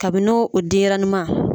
Kabin'o denɲɛrɛnin ma.